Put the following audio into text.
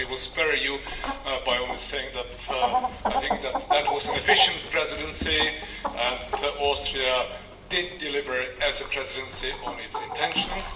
So I will spare you by only saying that I think that that was an efficient Presidency and Austria did deliver as a Presidency on its intentions.